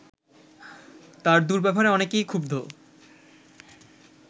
তার দুর্ব্যবহারে অনেকেই ক্ষুব্ধ